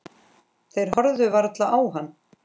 Þeir horfðu varla á hann.